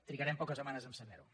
trigarem poques setmanes a saberho